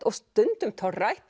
og stundum